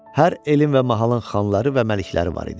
Hər elin və mahalın xanları və məlikləri var idi.